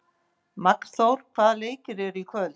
Magnþór, hvaða leikir eru í kvöld?